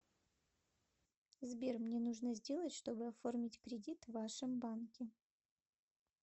сбер мне нужно сделать чтобы оформить кредит в вашем банке